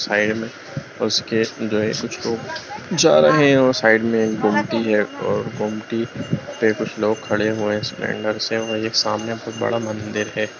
Side में उसमें जो कुछ लोग जो जा रहे हैं और साइड में कुछ बुमटी हैं और बुमटी पे कुछ लोग खड़े हुए हैं सिलिंडर से और एक सामने बहुत बड़ा मंदिर है।